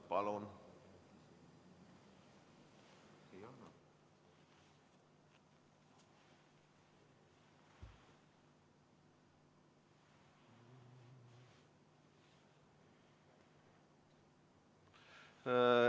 Palun!